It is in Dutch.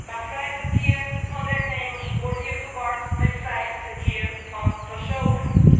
Maar vrij verkeer van werknemers wordt hier verward met vrij verkeer van personen.